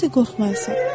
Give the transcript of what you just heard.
Necə də qorxmayasan?